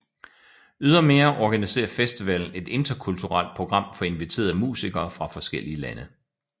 Ydermere organiserer festivalen et interkulturelt program for inviterede musikere fra forskellige lande